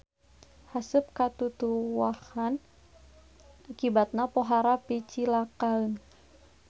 Haseup ka tutuwuhan akibatna pohara picilakaeun.